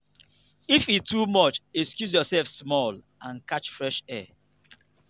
if e too much excuse yourself small and catch fresh air.